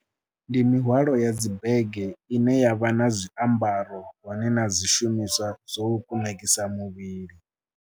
Ndi mihwalo ya dzi bege ine ya vha na zwiambaro hone na zwishumiswa zwo kunakisa muvhili.